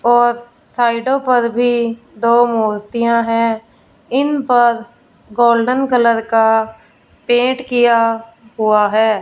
और साइडों पर भी दो मूर्तियां है इन पर गोल्डन कलर का पेंट किया हुआ हैं।